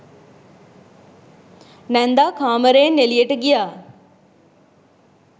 නැන්දා කාමරයෙන් එළියට ගියා.